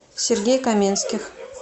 сергей каменских